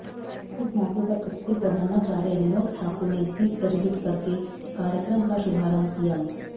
इस मौके पर स्कूल प्रधानाचार्य विनोद ठाकुर ने दीप प्रज्वलित करके कार्यक्रम का शुभारंभ किया